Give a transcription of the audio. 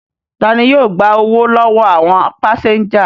Ta ni yóò gba owó lọ́wọ́ àwọn pásẹ́ńjà?